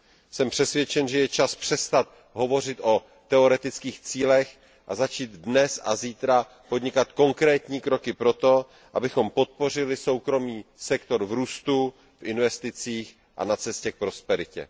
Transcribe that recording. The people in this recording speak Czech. Jsem přesvědčen, že je čas přestat hovořit o teoretických cílech a začít dnes a zítra podnikat konkrétní kroky pro to, abychom podpořili soukromý sektor v růstu, v investicích a na cestě k prosperitě.